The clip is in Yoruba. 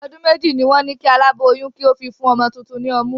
Ọdún méjì ni wọn ni kí alaboyun kí ó fi fún ọmọ tuntun ni ọmú.